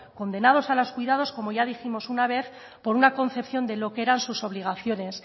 condenados a los cuidados como ya dijimos una vez por una concepción de lo que eran sus obligaciones